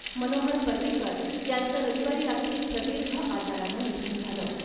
मनोहर पर्रिकर यांचं रविवारी रात्री प्रदीर्घ आजारानं निधन झालं .